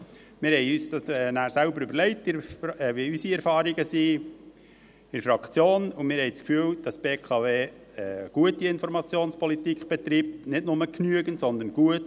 – Wir haben uns dann in der Fraktion überlegt, wie unsere Erfahrungen sind, und wir haben das Gefühl, dass die BKW eine gute Informationspolitik betreibt – nicht nur genügend, sondern gut.